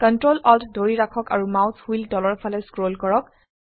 ctrl alt ধৰি ৰাখক আৰু মাউস হুইল তলৰ ফালে স্ক্ৰল কৰক